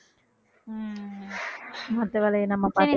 மத்த வேலையை நம்ம பாத்து~